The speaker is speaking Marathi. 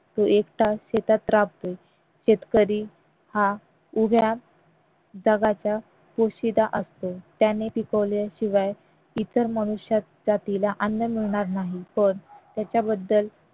तो एकटा शेतात राबतो शेतकरी हा उभ्या जगाचा पोशिंदा असतो त्याने पिकवल्याशिवाय इतर मनुष्य जातीला अन्न मिळणार नाही तर त्याच्याबद्दल